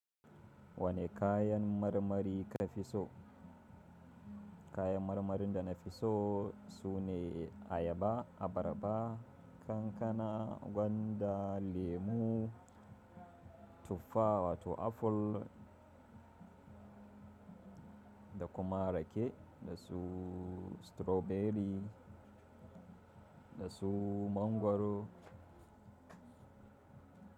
Wane kayan marmari ka fi so? Kayan marmarin da na fi so su ne ayaba, abarba, kankana, gwanda, lemu, tuffa wato aful, da kuma rake, da su strawberry da su mangwaro.